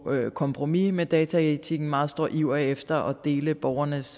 kompromis med dataetikken en meget stor iver efter at dele borgernes